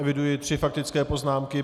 Eviduji tři faktické poznámky.